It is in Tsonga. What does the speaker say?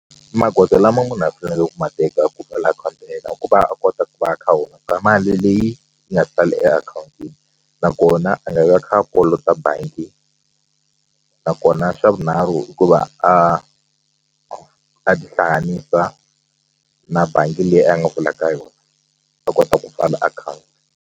Magoza lama munhu a fanele ku ma teka ku pfala akhawunti ya yena ku va a kota ku va a kha a hunguta mali leyi yi nga sali e akhawuntini nakona a nga vai a kha a kolota bangi nakona swa vunharhu hikuva a a tihlanganisa na bangi leyi a nga pfula ka yona a kota ku pfala akhawunti.